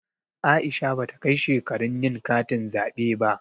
Aisha bata kai shekarun yin katin zaɓe ba.